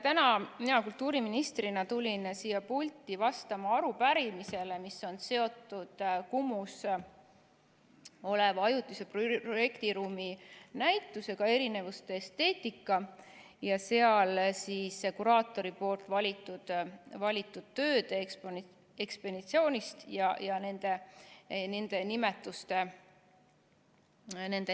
Täna mina kultuuriministrina tulin siia pulti vastama arupärimisele, mis on seotud Kumus oleva ajutise projektiruumi näitusega "Erinevuste esteetika" ja seal kuraatori valitud tööde ekspositsiooni ja nende nimetuste muutmisega.